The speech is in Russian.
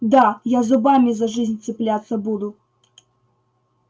да я зубами за жизнь цепляться буду